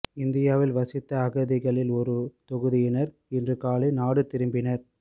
இந்தியாவில் வசித்த அகதிகளில் ஒரு தொகுதியினர் இன்று காலை நாடு திரும்பினர்